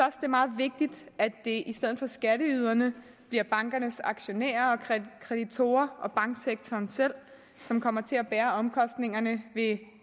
er meget vigtigt at det i stedet for skatteyderne bliver bankernes aktionærer og kreditorer og banksektoren selv som kommer til at bære omkostningerne ved